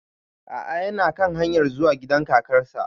A'a yana kan hanyar zuwa gida kakar sa